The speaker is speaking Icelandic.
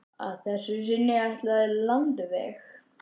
Að þessu sinni ætla þau landveg.